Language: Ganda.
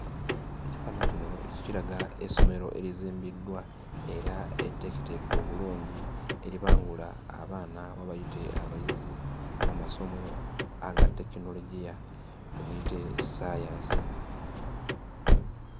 Ekifaananyi kino kiraga essomero erizimbiddwa era etteeketeeke obulungi eribangula abaana oba bayite abayizi mu masomo aga tekinologiya; tumuyite ssaayansi.